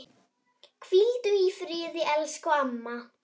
Hvíldu í friði, elsku amma.